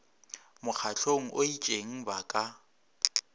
mokgahlong o itšeng ba ka